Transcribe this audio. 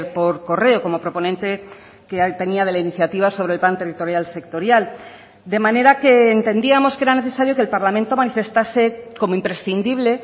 por correo como proponente que tenía de la iniciativa sobre el plan territorial sectorial de manera que entendíamos que era necesario que el parlamento manifestase como imprescindible